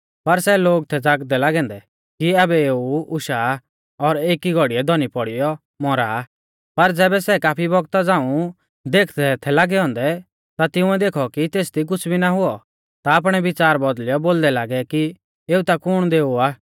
पर सै लोग थै ज़ागदै लागै औन्दै कि आबै एऊ उशाआ और एकी घौड़ीऐ धौनी पौड़ीयौ मौरा पर ज़ैबै सै काफी बौगता झ़ांऊ देखदै थै लागै औन्दै ता तिंउऐ देखौ कि तेसदी कुछ़ भी ना हुऔ ता आपणै विच़ार बौदल़ियौ बोलदै लागै कि एऊ ता कुण दैऔ आ